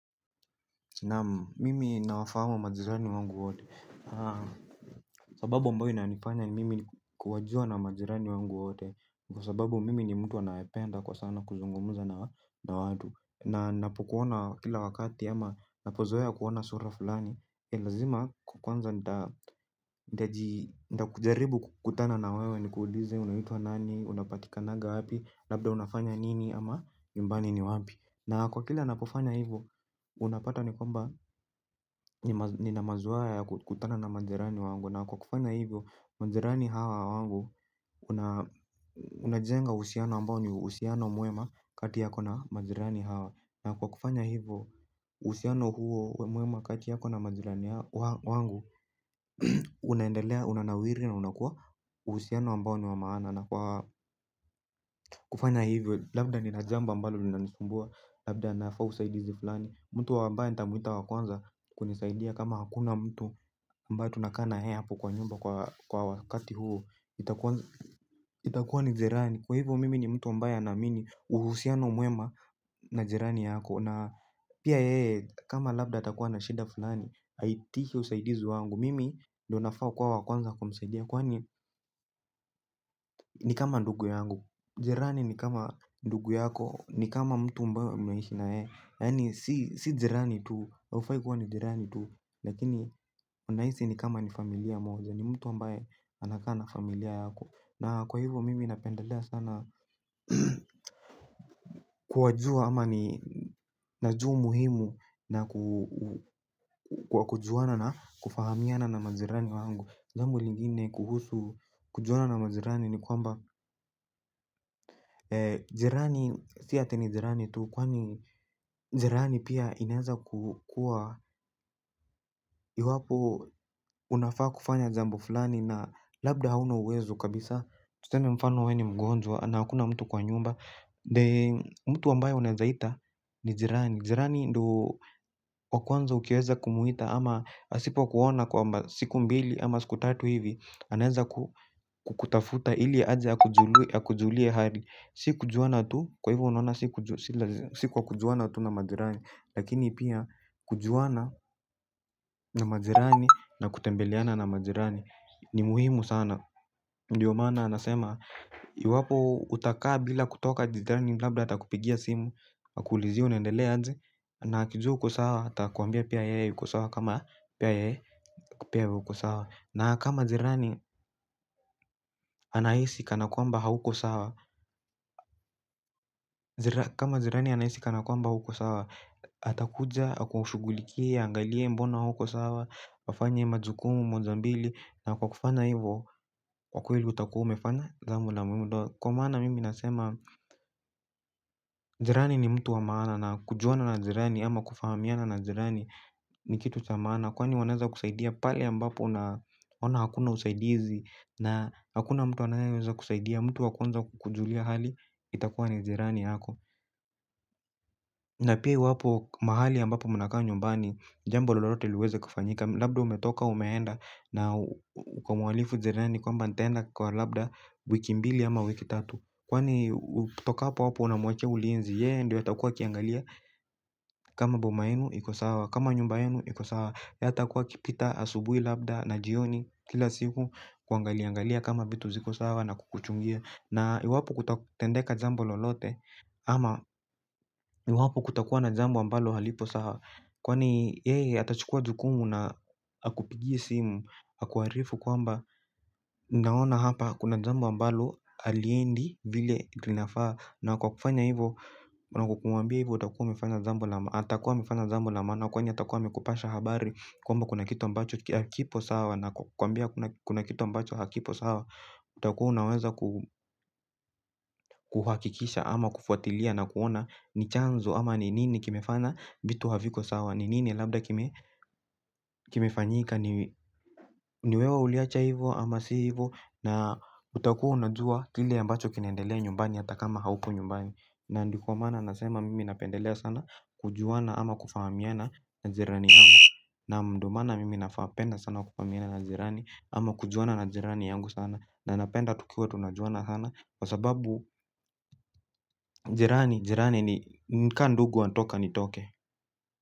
Naam, mimi nawafahamu majirani wangu wote. Sababu ambayo inanifanya mimi kuwajua na majirani wangu wote. Kwa sababu mimi ni mtu anayependa kwa sana kuzungumza na, na watu. Na napokuona kila wakati ama napozoea kuona sura fulani. Lazima kwanza nitakujaribu kukutana na wewe nikuulize unaitwa nani, unapatikananga wapi, labda unafanya nini ama nyumbani ni wapi. Na kwa kila napofanya hivyo, unapata ni kwamba nina mazoea ya kukutana na majirani wangu, na kwa kufanya hivyo, majirani hawa wangu, tunajenga uhusiano ambao ni uhusiano mwema, kati yako na majirani hawa. Na kwa kufanya hivyo, uhusiano huo uwe mwema kati yako na majirani wangu, unaendelea, unanawiri na unakuwa uhusiano ambao ni wa maana. Na kwa kufanya hivyo labda nina jambo ambalo linanisumbua, labda nafaa usaidizi fulani. Mtu ambaye nitamuita wa kwanza kunisaidia kama hakuna mtu ambaye tunakaa na yeye hapo kwa nyumba kwa wakati huu. Itakuwa ni jirani. Kwa hivyo mimi ni mtu ambaye anaamini uhusiano mwema na jirani yako, na pia yeye kama labda atakuwa na shida fulani, aitishe usaidizi wangu. Mimi ndo nafaa kuwa wa kwanza kumsaidia kwani ni kama ndugu yangu. Jirani ni kama ndugu yako, ni kama mtu ambao mnaishi naye. Yaani si jirani tu, haufai kuwa na jirani tu, lakini unahisi ni kama ni familia moja. Ni mtu ambaye anakaa na familia yako. Na kwa hivyo mimi napendelea sana kuwajua, ama ni, najua umuhimu na ku, wa kujuana na kufahamiana na majirani wangu. Langu lingine kuhusu kujuana na majirani ni kwamba jirani si ati ni jirani tu kwani jirani pia inaweza kukua, iwapo unafaa kufanya jambo fulani na labda hauna uwezo kabisa. Tuseme mfano we ni mgonjwa na hakuna mtu kwa nyumba, mtu ambaye unaweza ita ni jirani. Jirani ndo wa kwanza ukiweza kumuita ama asipo kuona kwa siku mbili ama siku tatu hivi anaweza kukutafuta ili aje akujulie hali. Si kujuana tu, kwa hivyo unaona si kwa kujuana tu na majirani, lakini pia kujuana na majirani na kutembeleana na majirani ni muhimu sana, ndio maana nasema. Iwapo utakaa bila kutoka jirani labda atakupigia simu, akuulizie unaendelea aje. Na akijua uko sawa atakuambia pia yeye yuko sawa kama pia yeye, pia wewe uko sawa. Na kama jirani anahisi kana kwamba hauko sawa kama jirani anahisi kana kwamba hauko sawa atakuja akushugulikie aangalie mbona hauko sawa wafanye majukumu moja mbili na kwa kufana hivo kwa kweli utakuwa umefanya jambo la muhimu ndo kwa maana mimi nasema jirani ni mtu wa maana na kujuana na jirani ama kufahamiana na jirani nikitu cha maana kwani wanaweza kusaidia pale ambapo una ona hakuna usaidizi na hakuna mtu anayeza kusaidia mtu wa kwanza kukujulia hali itakuwa ni jirani yako na pia iwapo mahali ambapo muna kaa nyumbani jambo lolote liweza kufanyika labda umetoka umeenda na na ukamualifu jirani kwamba ntaaenda kwa labda wiki mbili ama wiki tatu. Kwani utokapo hapo unamwachia ulinzi yeye ndiwe atakuwa akiangalia kama boma yenu iko sawa. Kama nyumba yenu iko sawa. Yeye atakua akipita asubuhi labda na jioni kila siku kuangalia. Angalia kama vitu ziko sawa na kukuchungia. Na iwapo kutatendeka jambo lolote ama iwapo kutakuwa na jambo ambalo halipo saha. Kwani yeye atachukua jukumu na akupigi simu. Akuarifu kwamba naona hapa kuna jambo ambaloh aliendi vile linafaa. Na kwa kufanya hivo na kukuambia hivo atakuwa amefanya jambo la maana. Atakuwa amefanya jambo la maana kwani atakuwa amekupasha habari kwamba kuna kitu ambacho hakipo sawa na kukwambia kuna kitu ambacho hakipo sawa. Utakuwa unaweza kuhakikisha ama kufuatilia na kuona ni chanzo ama ni nini kimefanya vitu haviko sawa ni nini labda kimefanyika niwewe uliacha hivo ama si hivo. Na utakuwa unajua kile ambacho kinaendelea nyumbani ata kama haupo nyumbani. Na ndiko maana nasema mimi napendelea sana kujuana ama kufahamiana na jirani yangu. Naam ndo maana mimi napenda sana kufahamiana na jirani ama kujuana na jirani yangu sana. Na napenda tukiwa tunaju ana kwa sababu jirani jirani ni nkaa ndugu wa toka ni toke.